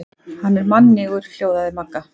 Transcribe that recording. Hann er mannýgur hljóðaði Magga.